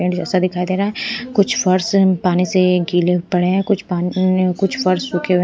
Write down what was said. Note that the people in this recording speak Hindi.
ऐसा दिखाई दे रहा है कुछ फर्श पानी से गीले पड़े हैं कुछ पानी कुछ फर्श सूखे--